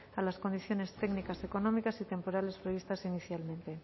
a las condiciones técnicas económicas y temporales previstas inicialmente